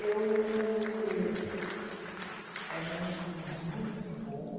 E eu... Era um ensino muito bom.